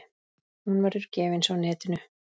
Hún verður gefins á netinu.